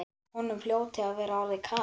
Honum hljóti að vera orðið kalt.